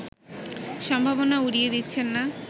সম্ভাবনা উড়িয়ে দিচ্ছেন না